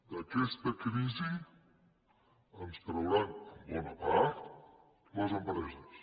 d’aquesta crisi ens en trauran en bona part les empreses